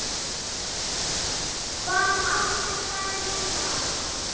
Hvað áttu þær með það?